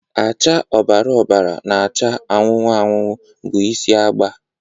acha ọbara ọbara na acha anụnụ anụnụ bụ isi agba